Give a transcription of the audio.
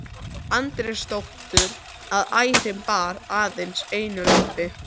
Andrésdóttur, að ærin bar aðeins einu lambi.